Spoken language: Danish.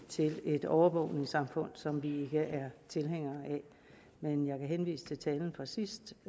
til et overvågningssamfund som vi ikke tilhængere af men jeg vil henvise til talen fra sidst